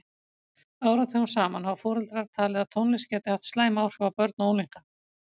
Áratugum saman hafa foreldrar talið að tónlist gæti haft slæm áhrif á börn og unglinga.